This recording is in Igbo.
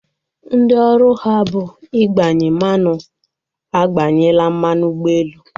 Ndị ọrụ ha bụ igbanye mmanụ agbanyela mmanụ ụgbọelu